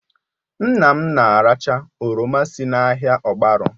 Nna m na-aracha oroma si n'ahịa ogbaru